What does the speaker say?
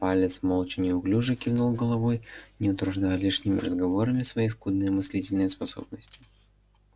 палец молча неуклюже кивнул головой не утруждая лишними разговорами свои скудные мыслительные способности